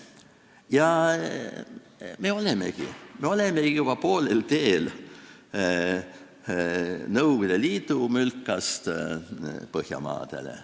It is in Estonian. Ja seda me olemegi, me olemegi juba poolel teel Nõukogude Liidu mülkast Põhjamaade poole.